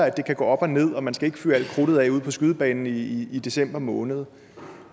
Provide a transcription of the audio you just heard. at det kan gå op og ned og at man ikke skal fyre alt krudtet af ude på skydebanen i i december måned